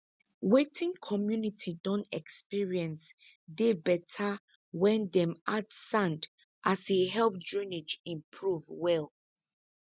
wetin community don experience dey better when dem add sand as e help drainage improve well